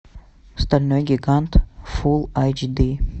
стальной гигант фулл айч ди